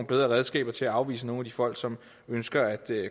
bedre redskaber til at afvise nogle af de folk som ønsker at